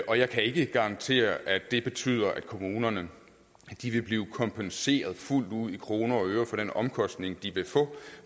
jeg kan ikke garantere at det betyder at kommunerne vil blive kompenseret fuldt ud i kroner og øre for den omkostning de vil få